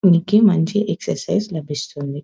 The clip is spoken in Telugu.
మనకి మంచి ఎక్సరసైజ్ లభిస్తుంది.